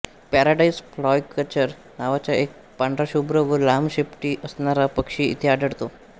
paradise flycatcher नावाचा एक पांढराशुभ्र व लांब शेपटी असणारा पक्षी इथे आढळतो